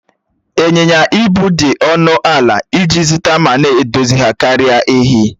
Ịnyịnya ibu dị ọnụ ala iji zụta ma na-edozi ha karịa èhi